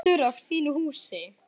Stoltur af sínu húsi.